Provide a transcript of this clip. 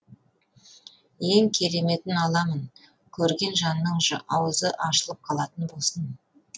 ең кереметін аламын көрген жанның аузы ашылып қалатын болсын